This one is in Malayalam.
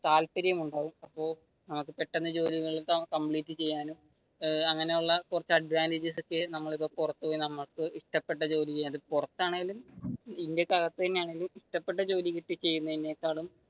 താപര്യമുണ്ടാകും അപ്പൊ പെട്ടെന്ന് ജോലികൾകംപ്ലീറ്റ് ചെയ്യാനും അങ്ങനെയുള്ള കുറച്ചു ഒക്കെ നമ്മൾ ഇപ്പൊ പുറത്തു പോയി നമുക്ക് ഇഷ്ടപെട്ട ജോലി ചെയ്യാം. അത് പുറത്താണെങ്കിലും ഇന്ത്യക്ക് അകത്താണെങ്കിലും ഇഷ്ടപ്പെട്ട ജോലി ചെയ്യുന്നതിനെക്കാളും,